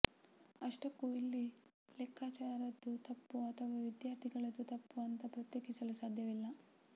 ಅಷ್ಟಕ್ಕೂ ಇಲ್ಲಿ ಲೆಕ್ಚರರ್ರದ್ದು ತಪ್ಪು ಅಥವಾ ವಿದ್ಯಾರ್ಥಿ ಗಳದ್ದು ತಪ್ಪು ಅಂತ ಪ್ರತ್ಯೇಕಿಸಲು ಸಾಧ್ಯವಿಲ್ಲ